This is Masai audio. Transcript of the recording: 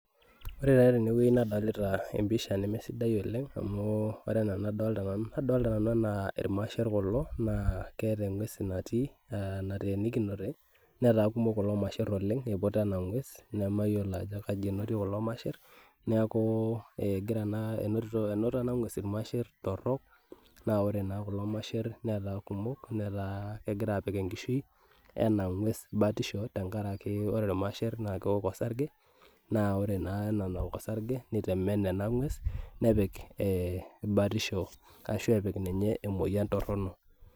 Ore taa tene wueji nadolita episha nemesidai oleng amu ore enaa enadolita nanu naa adolita nanu enaa irmashaer kulo naa keeta engues natii ah natenikinote netaa kumok kulo masher oleng eiputa ena ngues nemayiolo ajo kaji enotie kulo masher neaku eh egira naa enoto ena ngues irmashaer torok naa ore naa kulo masher netaa kumok netaa kegira apik enkishui ena ngues batisho tenkaraki ore irmashaer naa kewok orsage naa ore naa ena nawok orsage netemen ena ngues nepik eh batisho ashu epik ninye emoyian torono.